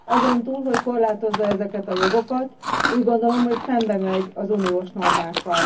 Azon túl, hogy korlátozza ezeket a jogokat, úgy gondolom, hogy szembemegy az uniós normákkal.